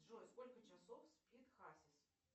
джой сколько часов спит хасис